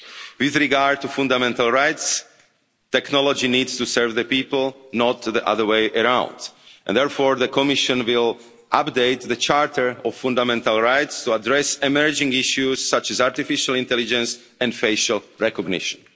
With regard to fundamental rights, technology needs to serve the people, not the other way around. Therefore, the Commission will update the Charter of Fundamental Rights to address emerging issues such as artificial intelligence and facial recognition.